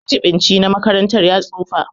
Majibinci na makaranta ya tsufa.